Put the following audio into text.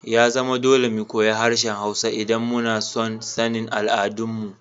Ya zama dole mu koyi harshen Hausawa idan muna son sanin al'adunsu.